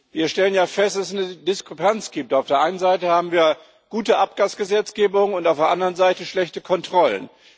Wir stellen ja fest, dass es eine Diskrepanz gibt Auf der einen Seite haben wir gute Abgasgesetzgebung und auf der anderen Seite schlechte Kontrollen.